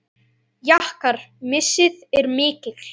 Ykkar missir er mikil.